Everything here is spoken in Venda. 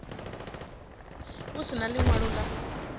a si na ḽiṅwalo ḽa